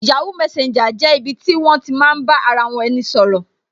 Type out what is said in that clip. yahoo messenger jẹ́ ibi ti won ti maa n ba ara eni sọ̀rọ̀